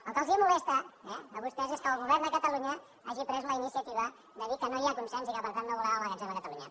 el que els molesta eh a vostès és que el govern de catalunya hagi pres la iniciativa de dir que no hi ha consens i que per tant no volem el magatzem a catalunya